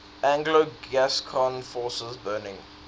anglo gascon forces burning